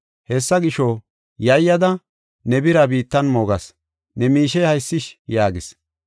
Hessa gisho, yayyada ne bira biittan moogas. Ne miishey haysish’ yaagis.